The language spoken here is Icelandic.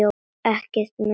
Ekkert sem minnir á Rósu.